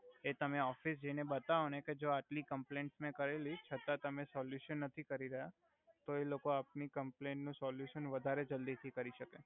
એ તમે ઓફિસ જઈ ને બતાવો ને કે જો મે આટલી કોમ્પ્લઈંસ મે કરેલી છતા તમે સોલુશન નથી કરી રહ્યા તો એ લોકો આપની કમપલઈન નુ સોલુસન વધારે જલ્દી થી કરી સકે